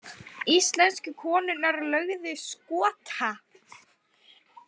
Íslensku konurnar lögðu Skota